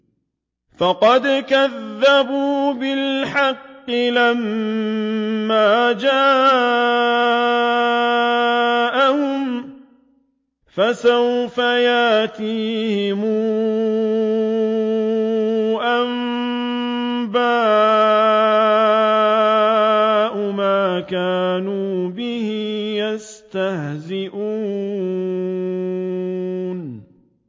فَقَدْ كَذَّبُوا بِالْحَقِّ لَمَّا جَاءَهُمْ ۖ فَسَوْفَ يَأْتِيهِمْ أَنبَاءُ مَا كَانُوا بِهِ يَسْتَهْزِئُونَ